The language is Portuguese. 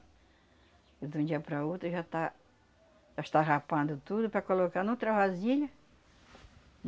De um dia par a outro, já tá... Já está rapando tudo para colocar noutra vasilha.